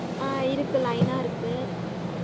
ஆஹ் இருக்கு line ஆ இருக்கு